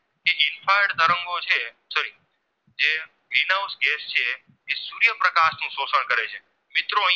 Green house gas છે એ સૂર્યપ્રકાશનું શોષણ કરે છે મિત્રો